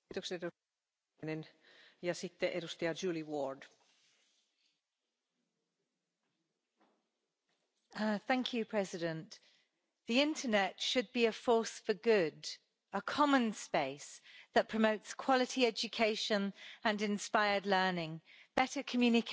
Madam President, the internet should be a force for good a common space that promotes quality education and inspired learning, better communication,